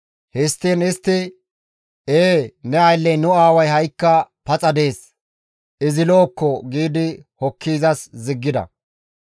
Histtiin istti, «Ee, ne aylley nu aaway ha7ikka paxa dees; izi lo7okko» gi hokki izas ziggida.